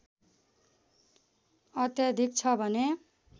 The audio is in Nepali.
अत्याधिक छ भने